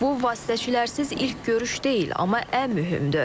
Bu vasitəçilərsiz ilk görüş deyil, amma ən mühümdür.